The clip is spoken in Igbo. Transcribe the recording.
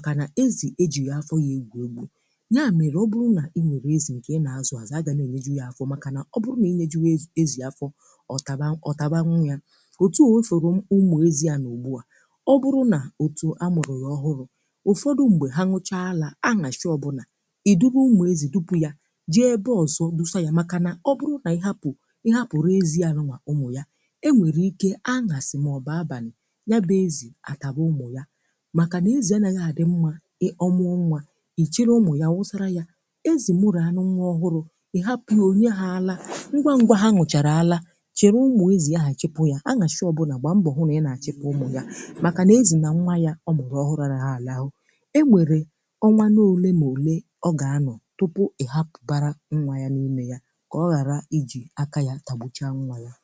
ga na-elekọta ụmụ ezi nke ọma, kpokọta ha, ma chekwaa ha. Nwunye ezi nwere ụmụ ọhụrụ ga na-ahụrịrị nlekọta mgbe niile. Ọ bụrụ na ọ bụghị otú ahụ, ọ nwere ike ịkwatuo ha, maọbụ mee ha ihe mberede, n’ihi na ezi abụghị anụ na-elekọta ụmụ ya nke ọma. Onye na-akọ ezi ga na-ahụ na ụmụ ahụ dị nchebe, na-enweta nri, ma na-echekwaa ha n’ebe ihe ize ndụ agaghị emetụta ha.